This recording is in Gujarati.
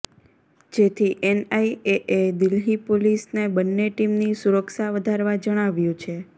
જેથી એનઆઇએએ દિલ્હી પોલીસને બંને ટીમની સુરક્ષા વધારવા જણાવ્યું છે